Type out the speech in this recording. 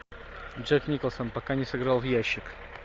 джек николсон пока не сыграл в ящик